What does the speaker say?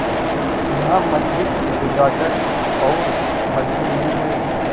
यहाँ मंदिर गिरजाघर और मस्जिद भी हैं